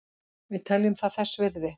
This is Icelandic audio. Við teljum það þess virði